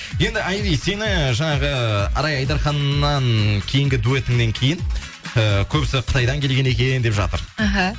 енді айри сені жаңағы арай айдарханнан кейінгі дуэтіңнен кейін ііі көбісі қытайдан келген екен деп жатыр іхі